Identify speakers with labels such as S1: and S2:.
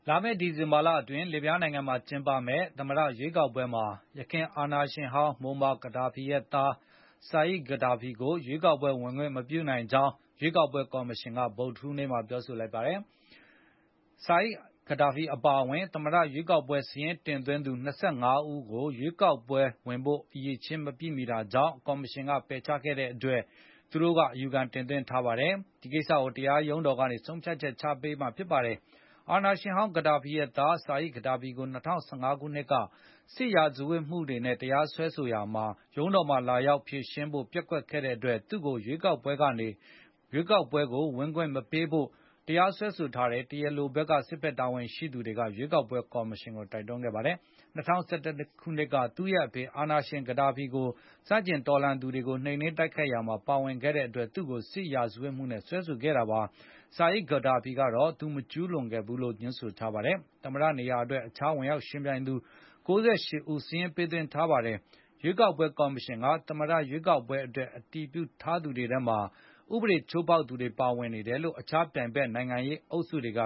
S1: လာမယ့် ဒီဇင်ဘာလအတွင်း လစ်ဗျားနိုင်ငံမှာ ကျင်းပမယ့် သမ္မတရွေးကောက်ပွဲမှာ ယခင် အာဏာရှင်ဟောင်း မိုမာ-ဂဒါဖီရဲ့သား Saif Gaddafi ဆာအစ်ဖ်-ဂဒါဖီကို ရွေးကောက်ပွဲ ဝင်ခွင့် မပြုနိုင်ကြောင်း ရွေးကောက်ပွဲကော်မရှင်က ဗုဒ္ဓဟူးနေ့မှာ ပြောဆိုလိုက်ပါတယ်။ Saif Gaddafi အပါအဝင် သမ္မတရွေးကောက်ပွဲ စာရင်းတင်သွင်းသူ ၂၅ ဦးကို ရွေးကောက်ပွဲဝင်ဖို့ အရည်အချင်း မပြည့်မီတဲ့အတွက် ကော်မရှင်က ပယ်ချလိုက်တာကို အယူခံ တင်သွင်းထားပါတယ်။ ဒီကိစ္စကို တရားရုံးတော်ကနေ ဆုံးဖြတ်ချက်ပေးမှာဖြစ်ပါတယ်။ အာဏာရှင်ဟောင်း ကဒါဖီရဲ့သား Saif Gaddafi ကို ၂၀၁၅ ခုနှစ်က စစ်ရာဇဝတ်မှုနဲ့ တရားစွဲဆိုရာမှာ ရုံးတော်မှာ လာရောက်ဖြေရှင်းဖို့ ပျက်ကွက်ခဲ့တဲ့အတွက် သူ့ကိုရွေးကောက်ပွဲကနေ ထုတ်ပယ်ဖို့ တရားစွဲဆိုခဲ့တဲ့ တရားလို စစ်ဘက်တာဝန်ရှိသူတွေက ရွေးကောက်ပွဲကော်မရှင်ကို တိုက်တွန်းခဲ့ပါတယ်။ ၂၀၁၁ ခုနှစ်က သူ့ရဲ့ဖခင် အာဏာရှင် ကဒါဖီကို ဆန့်ကျင်တော်လှန် သူတွေအပေါ် နှိမ်နင်းတိုက်ခိုက်ရာမှ ာပါဝင်ခဲ့အတွက် သူ့ကို စစ်ရာဇဝတ်မှုနဲ့ စွဲဆိုခဲ့တာပါ။ ဆာအစ်ဖ်-ဂါဒါဖီကတော့ သူ မကျူးလွန်ခဲ့ဘူးလို့ ငြင်းဆိုထားပါတယ်။ သမ္မတနေရာအတွက် အခြား ဝင်ရောက်ယှဉ်ပြိုင်လိုသူ ၉၈ ဦး စာရင်းပေးသွင်းထားပါတယ်။ ရွေးကောက်ပွဲကော်မရှင်က သမ္မတရွေးကောက်ပွဲအတွက် အတည်ပြုထားသူတွေထဲမှာ ဥပဒေ ချိုးဖေါက်သူတွေ ပါဝင်နေတယ်လို့ အခြားပြိုင်ဘက် နိုင်ငံရေးအုပ်စုတွေက